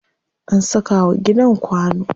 An saka wa gidan kwano.